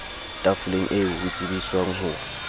tafoleng eo ho tsebiswang ho